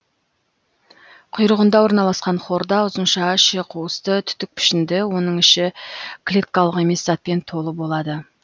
құйрығында орналасқан хорда ұзынша іші қуысты түтік пішінді оның іші клеткалық емес затпен толы болады